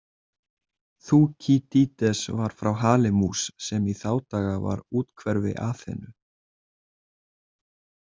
Þúkýdídes var frá Halimús, sem í þá daga var úthverfi Aþenu.